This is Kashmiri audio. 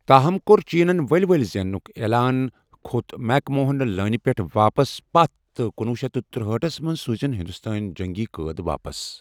تاہم، کوٚر چینن ؤلہِ ؤلہِ زینٛنُک عیلان، كھو٘ت میک موہن لٲنہِ پٮ۪ٹھ واپس پتھ تہٕ کنۄہ شیتھ تُرہاٹھ ٹھس منٛز سوُزِن ہندوستٲنیہِ جنگی قٲد واپس ۔